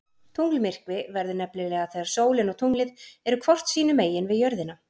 Tunglmyrkvi verður nefnilega þegar sólin og tunglið eru hvort sínu megin við jörðina.